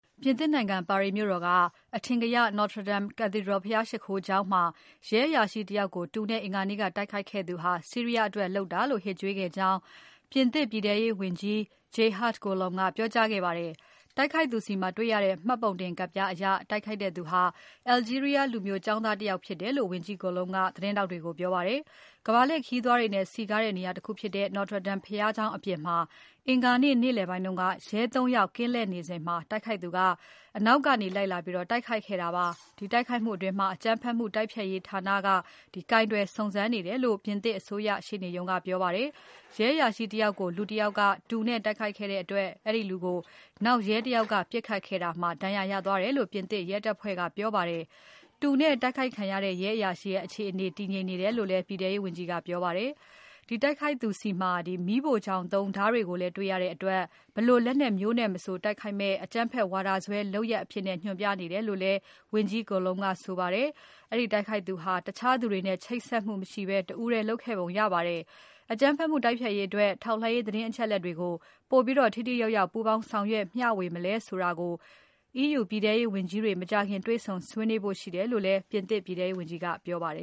ပြင်သစ်နိုင်ငံ ပါရီမြို့တော်က အထင်ကရ Notre Dame Cathedral ဘုရားရှိခိုးကျောင်းမှာ ရဲအရာရှိ တယောက်ကို တူနဲ့ အင်္ဂါနေ့က တိုက်ခိုက်ခဲ့သူဟာ ဆီးရီးယားအတွက် လုပ်တာလို့ ဟစ်ကြွေးခဲ့ကြောင်း ပြင်သစ် ပြည်ထဲရေးဝန်ကြီး Gérard Collomb ကပြောကြားခဲ့ပါတယ်။ တိုက်ခိုက်သူဆီမှာ တွေ့ရတဲ့ မှတ်ပုံတင်ကဒ်ပြား အရ တိုက်ခိုက်သူဟာ Algeria လူမျိုး ကျောင်းသားတယောက် ဖြစ်တယ်လို့ ဝန်ကြီး Collomb က သတင်းထောက်တွေကို ပြောပါတယ်။ ကမ္ဘာလှည့် ခရီးသွားတွေနဲ့ စည်းကားတဲ့ နေရာတခုဖြစ်တဲ့ Notre Dame ဘုရားကျောင်း အပြင်မှာ အင်္ဂါနေ့ နေ့လည်ပိုင်းက ရဲ ၃ ယောက် ကင်းလှည့်နေစဉ် တိုက်ခိုက်သူက အနောက်ကနေ လိုက်လာပြီး တိုက်ခိုက်ခဲ့တာပါ။ တိုက်ခိုက်မှုကို အကြမ်းဖက်မှု တိုက်ဖျက်ရေးဌာနက ကိုင်တွယ် စုံစမ်းနေတယ်လို့ ပြင်သစ်အစိုးရ ရှေ့နေရုံးက ပြောပါတယ်။ ရဲအရာရှိ တယောက်ကို လူတယောက်က တူနဲ့ တိုက်ခိုက်ခဲ့တဲ့ အတွက် အဲဒီလူကို နောက်ရဲတယောက်က ပစ်ခတ်ခဲ့တာမှာ ဒဏ်ရာရသွားတယ်လို့ ပြင်သစ် ရဲတပ်ဖွဲ့က ပြောပါတယ်။ တူနဲ့ တိုက်ခိုက်ခံရတဲ့ ရဲအရာရှိရဲ့အခြေအနေ တည်ငြိမ်တယ်လို့ ပြည်ထဲရေးဝန်ကြီးက ပြောပါတယ်။ တိုက်ခိုက်သူဆီမှာ မီးဖိုချောင်သုံး ဓါးတွေ ကိုလည်း တေ့ွရတဲ့အတွက် ဘယ်လိုလက်နက်မျိုးနဲ့ မဆ ိုတိုက်ခိုက်မယ့် အကြမ်းဖက်ဝါဒစွဲ လုပ်ရပ် အဖြစ် ညွှန်ပြနေတယ်လို့ ဝန်ကြီး Collomb ကဆိုပါတယ်။ တိုက်ခိုက်သူဟာ တခြားသူတွေနဲ့ ချိတ်ဆက်မှု မရှိဘဲ တဦးတည်း တိုက်ခိုက်ခဲ့ပုံရပါတယ်။ အကြမ်းဖက်မှု တိုက်ဖျက်ရေးအတွက် ထောက်လှမ်းရေး သတင်းအချက်အလက်တွေကို ပိုပြီး ထိထိရောက်ရောက် ပူးပေါင်းဆောင်ရွက် မျှဝေမလဲဆိုတာကို EU ပြည်ထဲရေးဝန်ကြီးတွေ မကြာခင် တေ့ွဆုံဆွေးနွေးဖို့ ရှိတယ်လို့လည်း ပြင်သစ်ပြည်ထဲရေးဝန်ကြီးက ပြောပါတယ